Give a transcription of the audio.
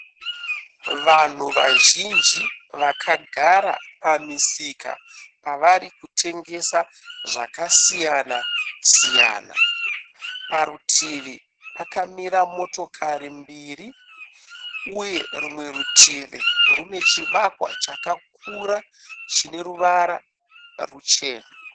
Vanhu vazhinji vakagara pamisika parivari kutengesa zvakasiyana siyana. Parutivi pakamira motikari mbiri uye rumwe rutivi rune chivakwa chakakura chineruvara ruchena